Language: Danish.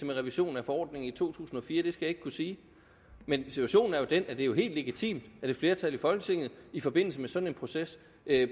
med revisionen af forordningen i to tusind og fire det skal jeg ikke kunne sige men situationen er jo den at det er helt legitimt at et flertal i folketinget i forbindelse med sådan en proces